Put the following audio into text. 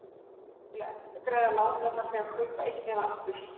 Til að endurgreiða lánið þarf því að kaupa eignina aftur.